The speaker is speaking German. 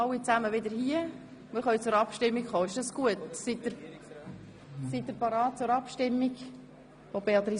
Dann würden wir zuerst über die Motion abstimmen und anschliessend über die Abschreibung derselben.